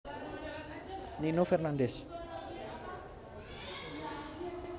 Nino Fernandez